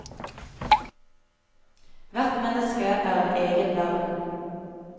Hvert menneske er en egen verden.